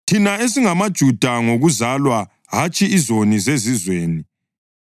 Thina esingamaJuda ngokuzalwa hatshi ‘izoni zeZizweni’